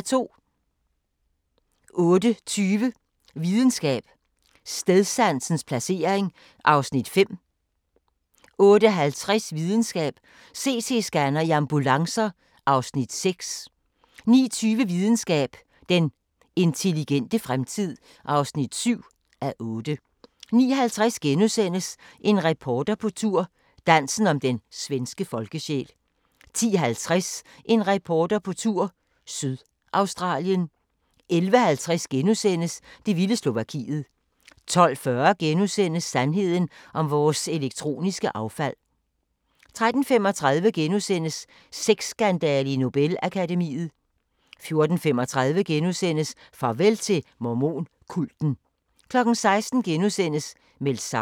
08:20: Videnskab: Stedsansens placering (5:8) 08:50: Videnskab: CT-scanner i ambulancer (6:8) 09:20: Videnskab: Den intelligente fremtid (7:8) 09:50: En reporter på tur – Dansen om den svenske folkesjæl * 10:50: En reporter på tur – Sydaustralien 11:50: Det vilde Slovakiet * 12:40: Sandheden om vores elektroniske affald * 13:35: Sexskandale i Nobel-akademiet * 14:35: Farvel til mormon-kulten * 16:00: Meldt savnet *